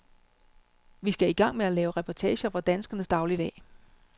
Vi skal i gang med at lave reportager fra danskernes dagligdag.